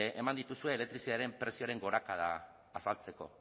eman dituzue elektrizitatearen prezioaren gorakada azaltzeko